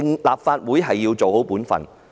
立法會要做好本分。